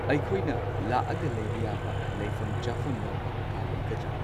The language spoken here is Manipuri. ꯑꯩꯈꯣꯏꯅ ꯂꯥꯛꯑꯒ ꯂꯩꯕ ꯌꯥꯕ ꯂꯩꯐꯝ ꯆꯥꯐꯝ ꯌꯥꯎꯕ ꯀꯥ ꯂꯩꯒꯗ꯭ꯔꯥ꯫